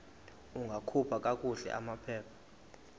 ungakhupha kakuhle amaphepha